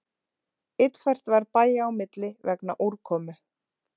Illfært var bæja á milli vegna úrkomu